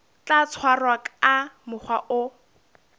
tla tshwarwa ka mokgwa o